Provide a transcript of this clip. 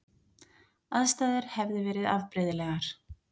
Aðstæður hefði verið afbrigðilegar